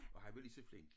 Og han var lige så flink